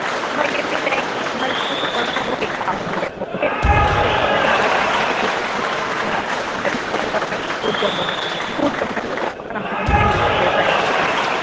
அந்த மாதிரி கூட்டிட்டு போனா okay ஆயிரும் அவங்களுக்கு